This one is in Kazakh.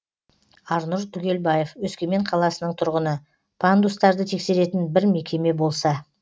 арнұр түгелбаев өскемен қаласының тұрғыны пандустарды тексеретін бір мекеме болса